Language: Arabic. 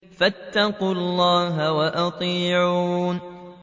فَاتَّقُوا اللَّهَ وَأَطِيعُونِ